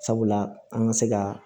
Sabula an ka se ka